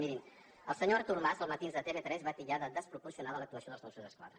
mirin el senyor artur mas a els matins de tv3 va titllar de desproporcionada l’actuació dels mossos d’esquadra